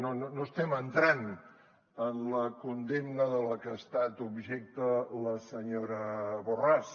no estem entrant en la condemna de la que ha estat objecte la senyora borràs